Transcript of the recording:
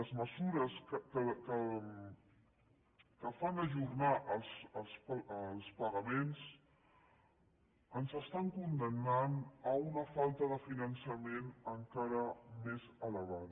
les mesures que fan ajornar els pagaments ens condemnen a una falta de finançament encara més elevada